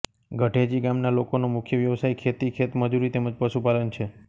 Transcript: ગઢેચી ગામના લોકોનો મુખ્ય વ્યવસાય ખેતી ખેતમજૂરી તેમ જ પશુપાલન છે